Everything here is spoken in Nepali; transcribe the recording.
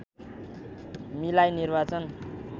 मिलाई निर्वाचन